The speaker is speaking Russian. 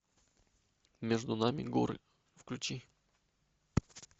между нами горы включи